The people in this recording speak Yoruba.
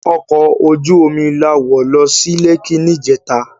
Òkò ójú ómi lá wó lò si Lèki nijètá